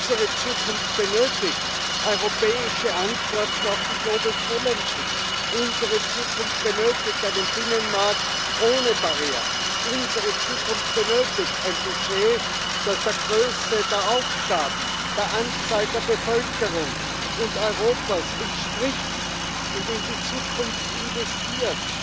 Unsere Zukunft benötigt europäische Antworten auf die global challenges unsere Zukunft benötigt einen Binnenmarkt ohne Barrieren, unsere Zukunft benötigt ein Budget, das der Größe der Aufgaben, der Anzahl der Bevölkerung Europas entspricht und in die Zukunft investiert.